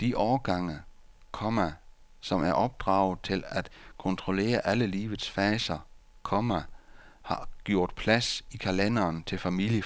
de årgange, komma som er opdraget til at kontrollere alle livets faser, komma har gjort plads i kalenderen til familieforøgelse. punktum